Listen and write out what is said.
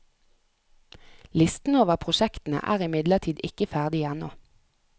Listen over prosjektene er imidlertid ikke ferdig ennå.